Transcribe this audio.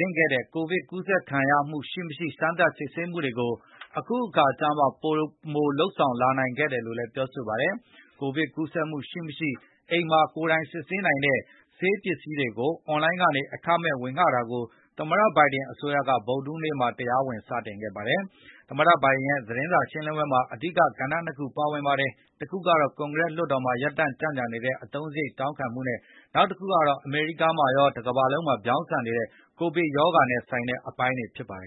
တဲ့ ကိုဗစ်ကူးစက်ခံရမှုရှိမရှိ စမ်းသပ်စစ်ဆေးတာတွေကို အခုအခါကျမှ ပိုမိုလုပ်ဆောင်နိုင်ခဲ့တယ်လို့လဲပြောဆိုပါတယ်။ ကိုဗစ်ကူးစက်မှုရှိမရှိ အိမ်မှာကိုယ်တိုင်စစ်ဆေးနိုင်တဲ့ ဆေးပစ္စည်းအွန်လိုင်းကနေ အခမဲ့ဝေတာကို သမတ ဘိုင်ဒင်အစိုးရက ဗုဒ္ဓဟူးနေ့မှာတရားဝင်စတင်ခဲ့ပါတယ်။ သမတဘိုင်ဒင်ရဲ့ သတင်းစာရှင်းလင်းပွဲမှာ အဓိက ကဏ္ဍနှစ်ခုပါဝင်ခဲ့ပါတယ်။ တခုက ကွန်ဂရက်လွှတ်တော်မှာ ရပ်တန့်နေတဲ့ သူ့ရဲ့အသုံစားရိတ်တောင်းခံမှုတွေနဲ့၊ နောက်တခုကတော့ အမေရိကားမှာရော၊ တကမ္ဘာလုံးမှာပါ ဗြောင်းဆန်နေတဲ့ ကိုဗစ်ကပ်ရောဂါနဲ့ ဆိုင်တဲ့အပိုင်းတွေဖြစ်ပါတယ်